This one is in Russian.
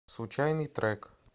случайный трек